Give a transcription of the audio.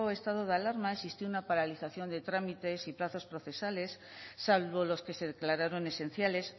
estado de alarma existió una paralización de trámites y plazos procesales salvo los que se declararon esenciales